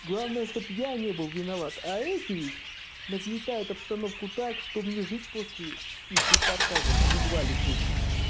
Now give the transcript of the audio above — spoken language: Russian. главное чтобы я не был виноват а эти ведь нагнетает обстановку так что мне жить после их репортажа едва ли хочется